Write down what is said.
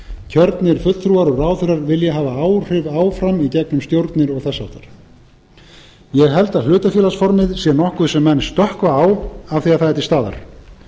kjörnir fulltrúar og ráðherrar vilja hafa áhrif áfram í gegnum stjórnir og þess háttar ég held að hlutafélagsformið sé nokkuð sem menn stökkva á af því það er til staðar